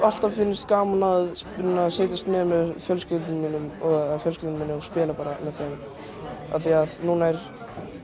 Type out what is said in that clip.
alltaf fundist gaman að setjast niður með fjölskyldunni og fjölskyldunni og spila bara með þeim af því núna er